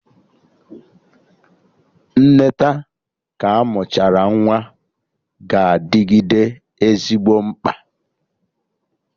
Nneta ka amụchara nwa ga-adịgide ezigbo mkpa